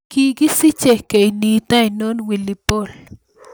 Kigisiche kenyint ainon willy Paul